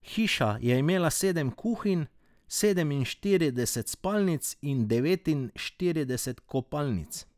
Hiša je imela sedem kuhinj, sedeminštirideset spalnic in devetinštirideset kopalnic.